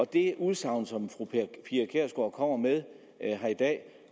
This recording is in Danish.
det udsagn som fru pia kjærsgaard kommer med her i dag